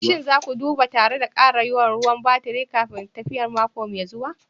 Shin za ku duba tare da ƙara yawan ruwan baturi kafin tafiyar mako mai zuwa?